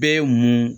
Bɛɛ ye mun